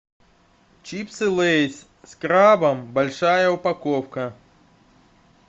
чипсы лейс с крабом большая упаковка